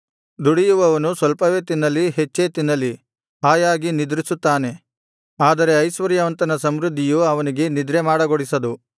ದುಡಿಯುವವನು ಸ್ವಲ್ಪವೇ ತಿನ್ನಲಿ ಹೆಚ್ಚೇ ತಿನ್ನಲಿ ಹಾಯಾಗಿ ನಿದ್ರಿಸುತ್ತಾನೆ ಆದರೆ ಐಶ್ವರ್ಯವಂತನ ಸಮೃದ್ಧಿಯು ಅವನಿಗೆ ನಿದ್ರೆ ಮಾಡಗೊಡಿಸದು